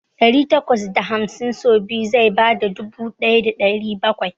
Dari takwas da hamsin so biyu zai bada dubu ɗaya da ɗari bakwai.